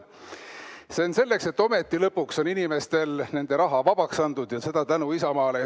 See on selleks, et ometi lõpuks on inimestele nende raha vabaks antud, ja seda tänu Isamaale.